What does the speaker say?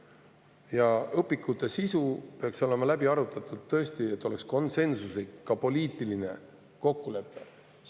Ja õpikute sisu peaks olema läbi arutatud, et oleks ka konsensuslik poliitiline kokkulepe.